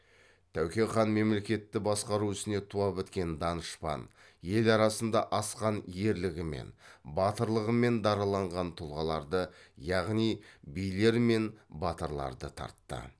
тәуке хан мемлекетті басқару ісіне туа біткен данышпан ел арасында асқан ерлігімен батырлығымен дараланған тұлғаларды яғни билер мен батырларды тартты